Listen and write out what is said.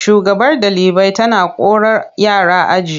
Shugabar ɗalibai tana korar yara aji.